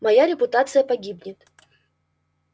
моя репутация погибнет